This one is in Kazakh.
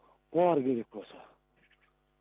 ал керек болса